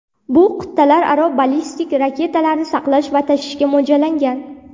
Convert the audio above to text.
Bu qit’alararo ballistik raketalarni saqlash va tashishga mo‘ljallangan.